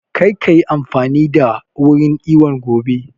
Kar ka yi amfani da wurin iwon gobe!